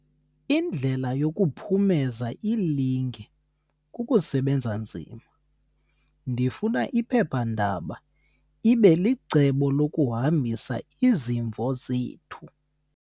Indlela yokuphumeza ilinge kukusebenza nzima. ndifuna iphepha ndaba ibe licebo lokuhambisa izimvo zethu